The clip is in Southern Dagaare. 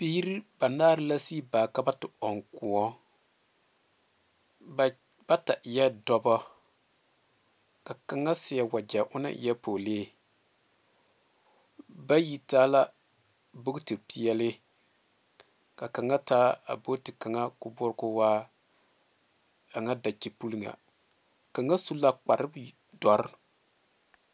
Biiri banaar la sig baa ka ba te ɔŋ kõɔ. Ba bata eɛɛ dɔbɔ. Ka kaŋa seɛ wagyɛ ona eɛɛ poolee. Bayi taa la bukitipeɛle, ka kaŋa taa a booti kaŋa k'o boɔr k'o waa a ŋa dakyepul ŋa. Kaŋa su la kpardɔr